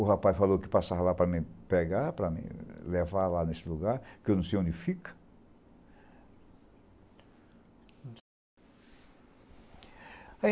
O rapaz falou que passava lá para me pegar, para me levar lá nesse lugar, porque eu não sei onde fica.